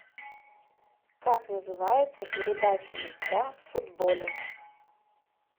как называется передача мяча в футболе